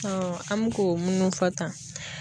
Ɔ an mi k'o munnu fɔ tan